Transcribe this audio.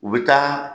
U bɛ taa